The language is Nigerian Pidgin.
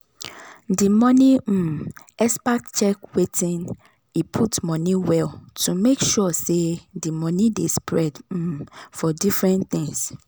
di money um expert check wetin e put money well to make sure say the money dey spread um for different things.